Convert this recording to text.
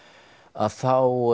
þá